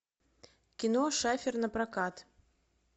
кино шафер напрокат